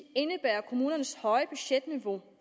indebærer at kommunernes høje budgetniveau